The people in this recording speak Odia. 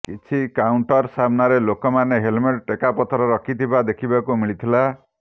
କିଛି କାଉଣ୍ଟର ସାମ୍ନାରେ ଲୋକମାନେ ହେଲମେଟ ଟେକାପଥର ରଖିଥିବା ଦେଖିବାକୁ ମିଳିଥିଲା